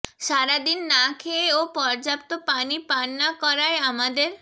সারাদিন না খেয়ে ও পর্যাপ্ত পানি পান না করায় আমাদের